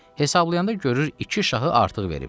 Hesablayanda görür iki şahı artıq veribdir.